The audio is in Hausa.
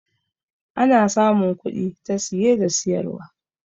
ana samun kudi ta siye da siyarwa